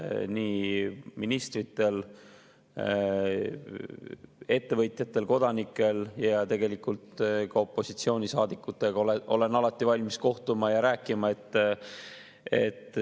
Nii ministrite, ettevõtjate, kodanike ja tegelikult ka opositsioonisaadikutega olen alati valmis kohtuma ja rääkima.